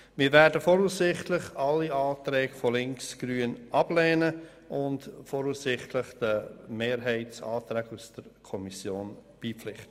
Wir werden voraussichtlich alle Anträge von Links-Grün ablehnen und voraussichtlich den Mehrheitsanträgen aus der Kommission beipflichten.